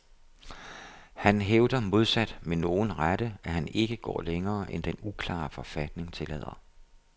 Han hævder modsat med nogen rette, at han ikke går længere end den uklare forfatning tillader.